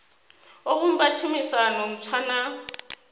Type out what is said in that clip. o vhumba tshumisano ntswa na